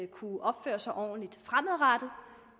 kunne opføre sig ordentligt fremadrettet